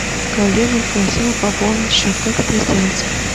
коллега просила пополнить счет как это сделать